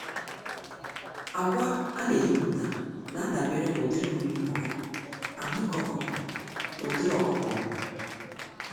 Ákwà aneyipụta n'adabere n'ụdịrị nri ọkụkọ, ahụike ọkụkọ na ụdịrị ọkụkọ ọbụ.